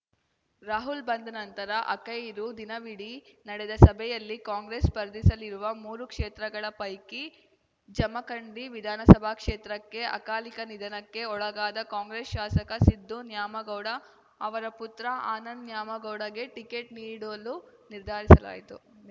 ರಾಹುಲ್‌ ಬಂದ ನಂತರ ಆಖೈರು ದಿನವಿಡೀ ನಡೆದ ಸಭೆಯಲ್ಲಿ ಕಾಂಗ್ರೆಸ್‌ ಸ್ಪರ್ಧಿಸಲಿರುವ ಮೂರು ಕ್ಷೇತ್ರಗಳ ಪೈಕಿ ಜಮಖಂಡಿ ವಿಧಾನಸಭಾ ಕ್ಷೇತ್ರಕ್ಕೆ ಅಕಾಲಿಕ ನಿಧನಕ್ಕೆ ಒಳಗಾದ ಕಾಂಗ್ರೆಸ್‌ ಶಾಸಕ ಸಿದ್ದು ನ್ಯಾಮಗೌಡ ಅವರ ಪುತ್ರ ಆನಂದ ನ್ಯಾಮಗೌಡಗೆ ಟಿಕೆಟ್‌ ನೀಡಲು ನಿರ್ಧಾರಿಸಲಾಯಿತು